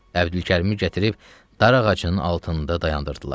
Əbdülkərimi gətirib darağacının altında dayandırdılar.